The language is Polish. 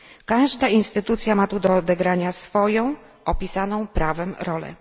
Każda instytucja ma tu do odegrania swoją opisaną prawem rolę.